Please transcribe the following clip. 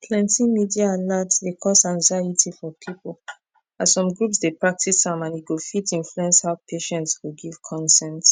plenty media alert dey cause anxiety for people as some groups dey practice am and e go fit influence how patients go give consent